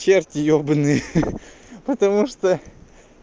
черти ебанные ха-ха потому что